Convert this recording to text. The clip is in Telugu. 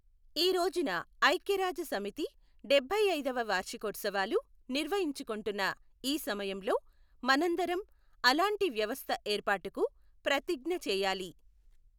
ఈ రోజున ఐక్య రాజ్య సమితి డబ్బై ఐదవ వార్షికోత్సవాలు నిర్వహించుకుంటున్న ఈ సమయంలో మనందరం అలాంటి వ్యవస్థ ఏర్పాటుకు ప్రతిజ్ఞ చేయాలి.